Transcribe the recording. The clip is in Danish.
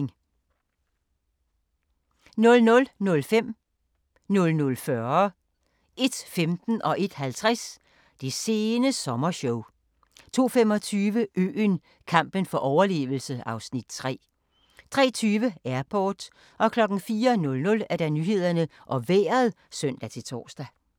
00:05: Det sene sommershow 00:40: Det sene sommershow 01:15: Det sene sommershow 01:50: Det sene sommershow 02:25: Øen - kampen for overlevelse (Afs. 3) 03:20: Airport 04:00: Nyhederne og Vejret (søn-tor)